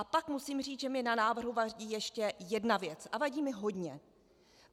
A pak musím říct, že mi na návrhu vadí ještě jedna věc, a vadí mi hodně.